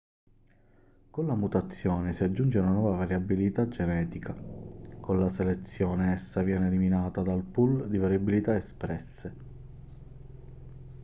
con la mutazione si aggiunge una nuova variabilità genetica con la selezione essa viene eliminata dal pool di variabilità espresse